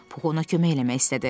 Pux ona kömək eləmək istədi.